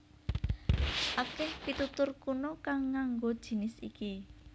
Akèh pitutur kuna kang nganggo jinis iki